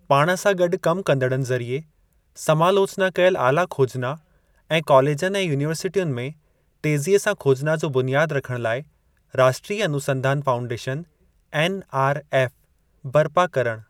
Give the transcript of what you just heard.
पाण सां गॾु कम कंदड़नि ज़रिए समालोचना कयल आला खोजना ऐं कॉलेजनि ऐं यूनिवर्सिटियुनि में ते‍ज़ीअ सां खोजना जो बुनियाद रखण लाइ 'राष्ट्रीय अनुसंधान फाउंडेशन' (एनआरएफ़) बर्पा करणु।